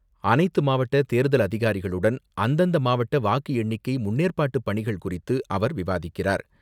அனைத்து மாவட்ட தேர்தல் அதிகாரிகளுடன், அந்தந்த மாவட்ட வாக்கு எண்ணிக்கை முன்னேற்பாட்டு பணிகள் குறித்து அவர் விவாதிக்கிறார்.